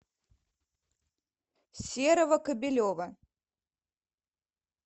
серого кобелева